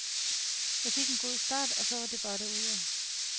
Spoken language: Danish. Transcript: Jeg fik en god start, og så var det bare derudad.